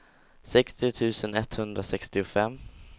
sextio tusen etthundrasextiofem